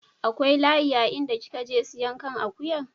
Akwai layi a inda kin je siyan kan akuyan?